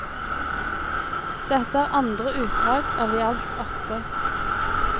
Dette er andre utdrag av i alt åtte.